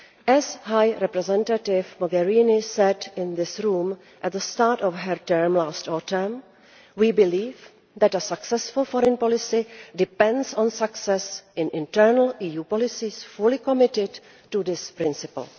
As High Representative Mogherini said in this Chamber at the start of her term last autumn, we believe that a successful foreign policy depends on success in internal EU policies fully committed to this principle.